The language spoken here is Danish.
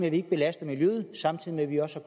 at vi ikke belaster miljøet og samtidig med at vi også